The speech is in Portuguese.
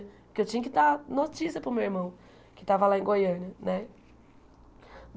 Porque eu tinha que dar notícia para o meu irmão, que estava lá em Goiânia né.